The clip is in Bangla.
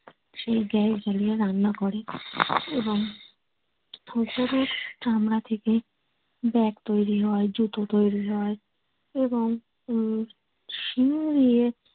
সেই gas জ্বেলে রান্না করে এবং গরুর চামড়া থেকে bag তৈরি হয় জুতো তৈরি হয় এবং উম শিং দিয়ে